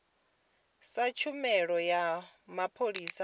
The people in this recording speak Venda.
sa tshumelo ya mapholisa a